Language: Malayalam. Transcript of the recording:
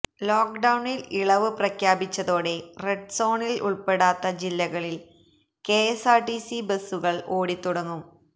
ലോക്ക് ഡൌണിൽ ഇളവ് പ്രഖ്യാപിച്ചതോടെ റെഡ് സോണിൽ ഉൾപ്പെടാത്ത ജില്ലകളിൽ കെഎസ്ആർടിസി ബസുകൾ ഓടിത്തുടങ്ങും